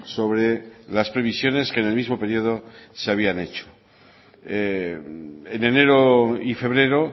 sobre las previsiones que en el mismo periodo se habían hecho en enero y febrero